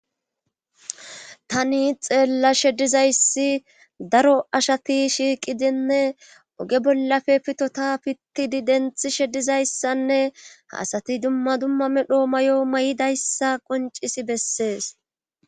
tani xeellashe dizayssi daro ashati shiiqidinne oge bollafe pitota pittidi denthishe dizayssanne ha asati dumma dumma medho mayo mayidayssa qonccisi bessees.